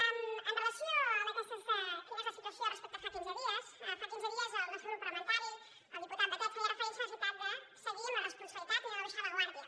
amb relació a quina és la situació respecte a fa quinze dies fa quinze dies el nostre grup parlamentari el diputat batet feia referència a la necessitat de seguir amb la responsabilitat i no abaixar la guàrdia